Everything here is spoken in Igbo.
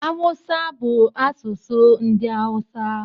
Haụsa bụ asụsụ ndị Haụsa